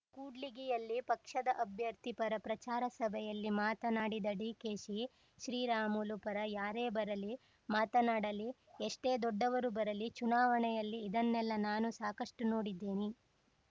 ಕೂಡ್ಲಿಗಿಯಲ್ಲಿ ಪಕ್ಷದ ಅಭ್ಯರ್ಥಿ ಪರ ಪ್ರಚಾರ ಸಭೆಯಲ್ಲಿ ಮಾತನಾಡಿದ ಡಿಕೆಶಿ ಶ್ರೀರಾಮುಲು ಪರ ಯಾರೇ ಬರಲಿ ಮಾತನಾಡಲಿ ಎಷ್ಟೇ ದೊಡ್ಡವರು ಬರಲಿ ಚುನಾವಣೆಯಲ್ಲಿ ಇದನ್ನೆಲ್ಲ ನಾನು ಸಾಕಷ್ಟುನೋಡಿದ್ದೀನಿ